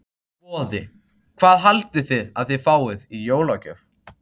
Boði: Hvað haldið þið að þið fáið í jólagjöf?